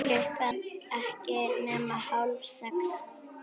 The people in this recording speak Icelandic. Klukkan ekki nema hálf sex.